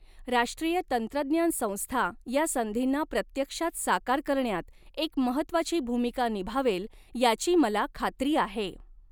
राष्ट्रीय तंत्रज्ञान संस्था या संधींना प्रत्यक्षात साकार करण्यात एक महत्त्वाची भूमिका निभावेल याची मला खात्री आहे.